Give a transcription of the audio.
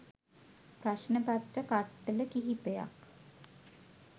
ප්‍රශ්න පත්‍ර කට්ටල කිහිපයක්